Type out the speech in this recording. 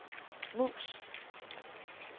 mus